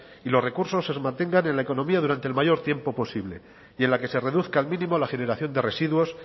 y los recursos se mantengan en la economía durante el mayor tiempo posible y en la que se reduzca al mínimo la generación de residuos